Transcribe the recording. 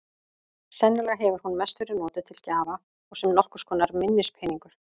Sennilega hefur hún mest verið notuð til gjafa og sem nokkurs konar minnispeningur.